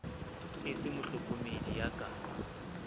e se mohlokomedi ya ka